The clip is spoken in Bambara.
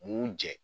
Mun jɛ